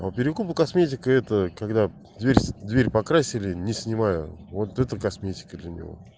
а перекупы косметика это когда дверь дверь покрасили не снимая вот это косметика для неё